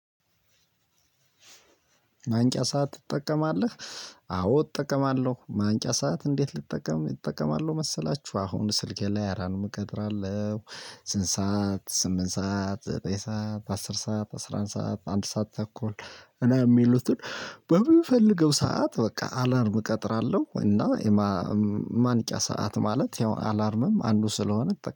ማንቂያ ሰዓት ትጠቀማለህ? አዎ እጠቀማለሁ ማንቂያ ሰዓት እንዴት ልጠቀም እጠቀማለሁ መሰላችሁ አሁን ስልኬ ላይ አላርም እቀጥራለሁ። ስንት? ሰዓት ስምንት ሰዓት ዘጠኝ ሰዓት አስር ሰዓት አስራ አንድ ሰዓት አንድ ሰዓት ተኩል እና እሚሉትን በእምፈልገው ሰዓት በቃ አላርም እቀጥራለሁ እና ማንቂያ ሰዓት ማለት ያው አላርምም አንዱ ስለሆነ